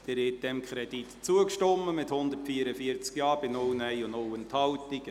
Sie haben diesem Kredit zugestimmt, mit 144 Ja- bei 0 Nein-Stimmen und 0 Enthaltungen.